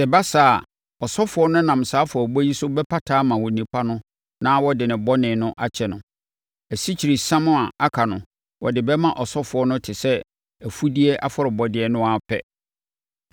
Sɛ ɛba saa a, ɔsɔfoɔ no nam saa afɔrebɔ yi so bɛpata ama onipa no na wɔde ne bɔne no bɛkyɛ no. Asikyiresiam a aka no, wɔde bɛma ɔsɔfoɔ no te sɛ afudeɛ afɔrebɔdeɛ no ara pɛ.’ ”